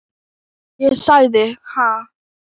Ég sagði: Ha?